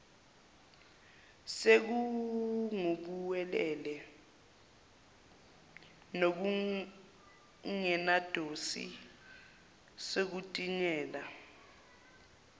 sekungubuwelewele nokungenadosi sekutinyela